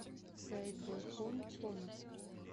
саидбурхон конохов